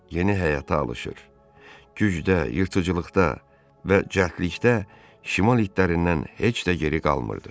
Yeni həyata alışır, gücdə, yırtıcılıqda və cəldlikdə şimal itlərindən heç də geri qalmırdı.